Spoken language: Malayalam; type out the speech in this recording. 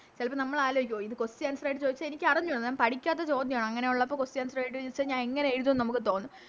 ചെലപ്പോ നമ്മളാലോയിക്കും ഓ ഇത് Question answer ആയിട്ട് ചോയിച്ച എനിക്കറിഞ്ഞൂടാ ഞാൻ പഠിക്കാത്ത ചോദ്യാണ് അങ്ങനെ ഒള്ളപ്പോ Question answer ആയിട്ട് ചോയിച്ച ഞാൻ എങ്ങനെ എഴുതുംന്ന് നമുക്ക് തോന്നും